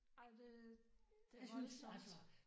Ej men det det voldsomt